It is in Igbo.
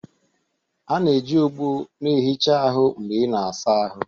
A na-eji ogbo na-ehicha ahụ mgbe ị na-asa ahụ